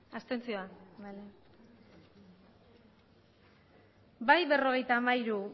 abstentzioak bai berrogeita hamairu